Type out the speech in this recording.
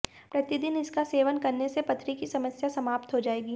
प्रतिदिन इसका सेवन करने से पथरी की समस्या समाप्त हो जाएगी